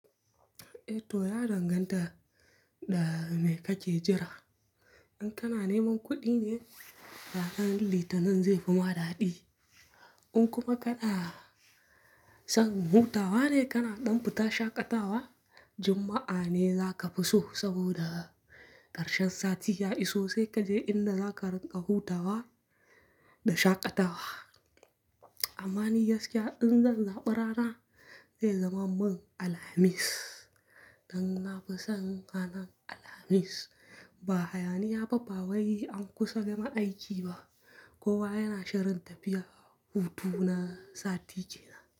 Eh to ya danganta da me kake jira. In kana neman kuɗi ne, ranar Litinin zai fi ma daɗi. In kuma kaɗa san hutawa ne kana ɗan fita shaƙatawa, Juma'a ne za ka fi so saboda ƙarshen sati ya iso sai kaje inna za ka riƙa hutawa da shaƙatawa. Amma ni gaskiya, in zan zaɓara na, zai zama man Alhamis. Dan na fi son ranar Alhamis, ba hayaniya babba wai an kusa gama aiki ba, kowa yana shirin tafiya, hutu na sati ke nan.